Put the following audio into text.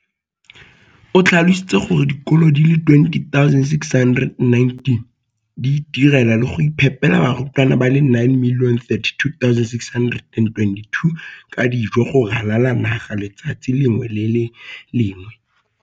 O tlhalositse gore dikolo di le 20 619 di itirela le go iphepela barutwana ba le 9 032 622 ka dijo go ralala naga letsatsi le lengwe le le lengwe.